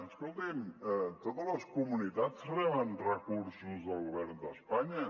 escolti’m totes les comunitats reben recursos del govern d’espanya